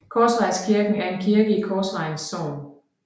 Korsvejskirken er en kirke i Korsvejens Sogn